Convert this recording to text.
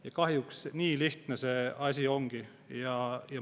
Ja kahjuks nii lihtne see asi ongi.